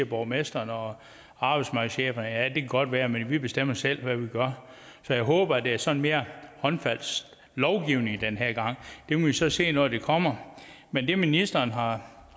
borgmestrene og arbejdsmarkedscheferne ja det kan godt være men vi bestemmer selv hvad vi gør så jeg håber at det er sådan mere håndfast lovgivning den her gang det må vi så se når det kommer men det ministeren har